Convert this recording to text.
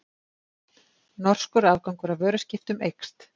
Norskur afgangur af vöruskiptum eykst